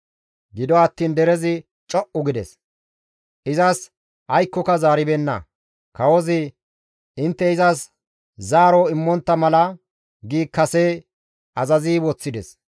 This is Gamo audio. Gido attiin derezi co7u gides; izas aykkoka zaaribeenna; kawozi, «Intte izas zaaro immontta mala» gi kase azazi woththides.